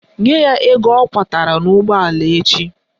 Nye ya ego ọ kwọtara n'ụgbọala echi!